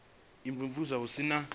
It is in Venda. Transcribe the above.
u imvumvusa hu si na